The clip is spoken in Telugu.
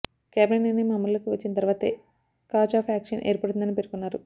క్యాబినెట్ నిర్ణయం అమలులోకి వచ్చిన తర్వాతే కాజ్ ఆఫ్ యాక్షన్ ఏర్పడుతుందని పేర్కొన్నారు